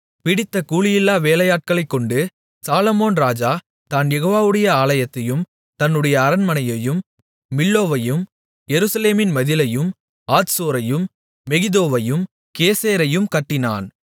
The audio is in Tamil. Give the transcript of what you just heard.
பிடித்த கூலியில்லா வேலையாட்களைக்கொண்டு சாலொமோன் ராஜா தான் யெகோவாவுடைய ஆலயத்தையும் தன்னுடைய அரண்மனையையும் மில்லோவையும் எருசலேமின் மதிலையும் ஆத்சோரையும் மெகிதோவையும் கேசேரையும் கட்டினான்